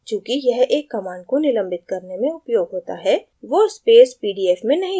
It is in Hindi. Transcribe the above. चूँकि यह एक command को निलंबित करने में उपयोग होता है वो space pdf में नहीं दिखता है